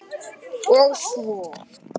Og sjö?